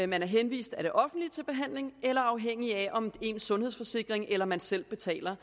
man er henvist af det offentlige til behandling eller afhængig af om ens sundhedsforsikring eller man selv betaler